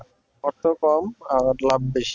অর্থও কম আর লাভ বেশি